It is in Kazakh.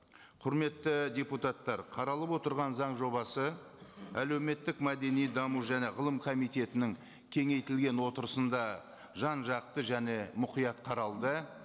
құрметті депутаттар қаралып отырған заң жобасы әлеуметтік мәдени даму және ғылым комитетінің кеңейтілген отырысында жан жақты және мұқият қаралды